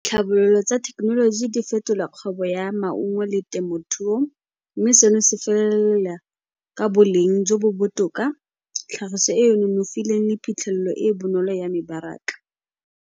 Tlhabololo tsa thekenoloji di fetola kgwebo ya maungo le temothuo mme seno se felelela ka boleng jo bo botoka, tlhagiso e e nonofileng le phitlhelelo e e bonolo ya mebaraka.